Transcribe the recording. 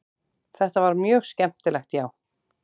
Þetta var mjög skemmtilegt já.